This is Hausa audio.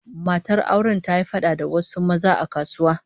Matar auren ta yi fada da wasu maza a kasuwa